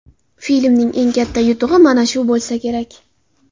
Filmning eng katta yutug‘i mana shu bo‘lsa kerak.